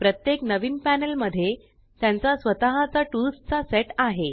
प्रत्येक नवीन पॅनल मध्ये त्यांचा स्वतः चा टूल्स चा सेट आहे